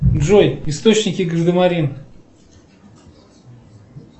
джой источники гардемарин